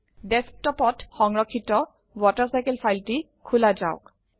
ডেস্কটপত সংৰক্ষিত ৱাটাৰচাইকেল ফাইলটি খোলা যাওক